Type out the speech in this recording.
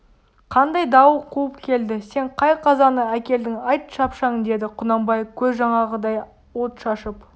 қандай дауыл қуып келді сен қай қазаны әкелдің айт шапшаң деді құнанбай көз жаңағыдай от шашып